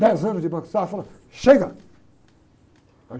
Dez anos de Banco Safra, chega!